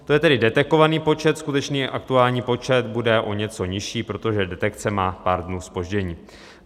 To je tedy detekovaný počet, skutečný aktuální počet bude o něco nižší, protože detekce má pár dnů zpoždění.